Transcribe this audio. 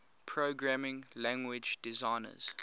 programming language designers